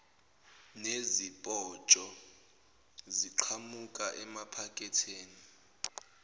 nezipotsho ziqhamuka emaphaketheni